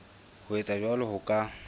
ho etsa jwalo ho ka